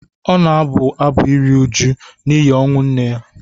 Ọ na-abụ abụ iru uju n’ihi ọnwụ nne ya.